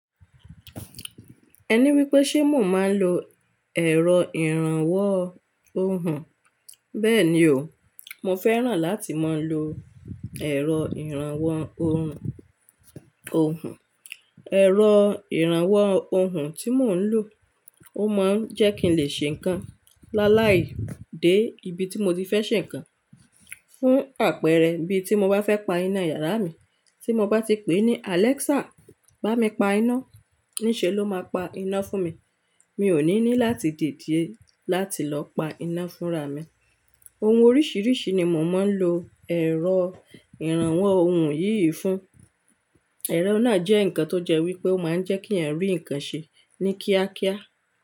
Ẹ ní wípé ṣe mò ń máa ń lo ẹ̀rọ ìrànwọ́ ohùn. Bẹ́ẹ̀ ni o, mo fẹ́ràn láti máa ń lo ẹ̀rọ ìrànwọ́ ohùn, ohùn. Ẹ̀rọ ìrànwọ́ ohùn tí mò ń lò, ó máa ń jẹ́ kí n lè ṣe nǹkan láláì dé ibi tí mo ti fẹ́ ṣe nǹkan. Fún àpẹẹrẹ bí ti mo bá fẹ́ pa iná yàrá mi, tí mo bá ti pè ní "Alexa, bá mi pa iná", ní ṣe ló máa pa iná fún mi. Mi ò ní ní láti dìde láti lọ pa iná fúnra mi. Ohun oríṣiríṣi ni mò máa ń lo ẹ̀rọ ìrànwọ́ ohùn yìí fún. Ẹ̀rọ náà jẹ́ nǹkan tó jẹ́ wípé ó máa ń jẹ́ kí ènìyàn rí nǹkan ṣe ní kíákíá.